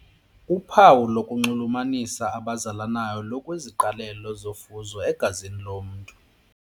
Uphawu olunxulumanisa abazalanayo lukwiziqalelo zofuzo egazini lomntu.